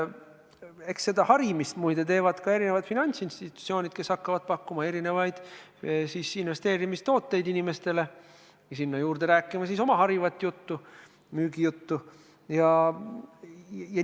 Eks seda harimist, muide, teevad ka finantsinstitutsioonid, kes hakkavad inimestele investeerimistooteid pakkuma ja sinna juurde oma harivat juttu, müügijuttu, rääkima.